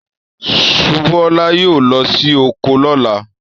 Subúolá yóò lọ sí oko lọ́la.